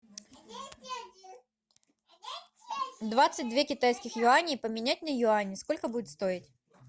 двадцать две китайских юани поменять на юани сколько будет стоить